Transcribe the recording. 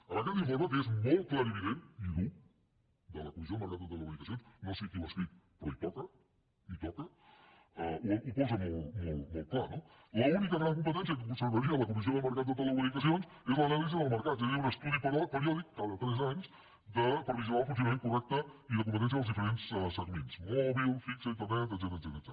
en aquest informe que és molt clarivident i dur de la comissió del mercat de les telecomunicacions no sé qui l’ha escrit però hi toca ho posa molt clar no l’única gran competència que conservaria la comis·sió del mercat de les telecomunicacions és l’anàlisi de mercats és a dir un estudi periòdic cada tres anys per vigilar el funcionament correcte i de competència dels diferents segments mòbil fix internet etcètera